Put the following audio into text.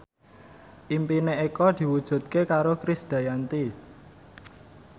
impine Eko diwujudke karo Krisdayanti